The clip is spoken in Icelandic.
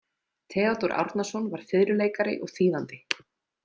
Theodór Árnason var fiðluleikari og þýðandi.